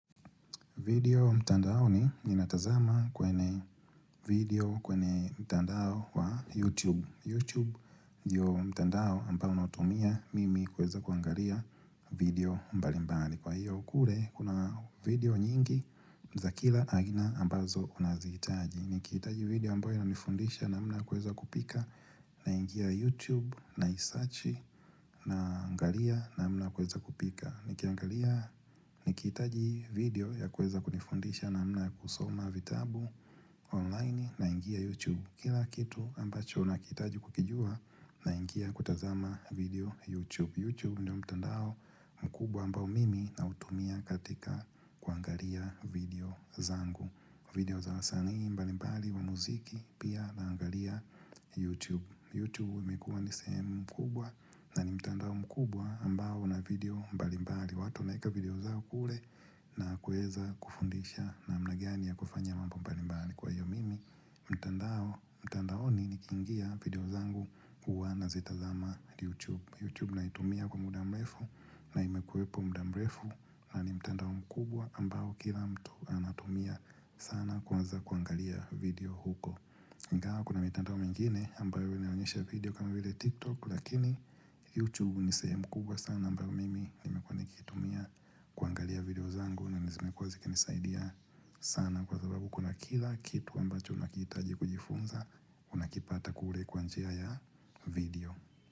Video mtandaoni ninatazama kwenye video kwenye mtandao wa YouTube. YouTube ndio mtandao ambao nautumia mimi kuweza kuangalia video mbalimbali. Kwa hiyo kule kuna video nyingi za kila aina ambazo unazihitaji. Nikihitaji video ambayo inanifundisha namna ya kuweza kupika, naingia YouTube naisearch naangalia namna ya kuweza kupika. Nikiangalia nikihitaji video ya kuweza kujifundisha namna ya kusoma vitabu online naingia YouTube. Kila kitu ambacho nakihitaji kukijua naingia kutazama video YouTube. YouTube ndiyo mtandao mkubwa ambao mimi nautumia katika kuangalia video zangu. Video za wasanii mbali mbali wa muziki pia naangalia YouTube. Youtube imekuwa ni sehemu kubwa na ni mtandao mkubwa ambao una video mbalimbali. Watu wanaweka video zao kule na kuweza kufundisha namna gani ya kufanya mambo mbalimbali. Kwa hiyo, mimi mtandaon nikingia video zangu huwa nazitazama Youtube. Youtube naitumia kwa muda mrefu na imekuwepo muda mrefu na ni mtandao mkubwa ambao kila mtu anatumia sana kwanza kuangalia video huko ingawa kuna mitanda mingine ambayo inaonyesha video kama vile tiktok lakini youtube ni sehemu mkubwa sana ambayo mimi nimekuwa nikitumia kuangalia video zangu na zimekuwa zikinisaidia sana kwa sababu kuna kila kitu ambacho unakitajikujifunza unakipata kule kwa njia ya video.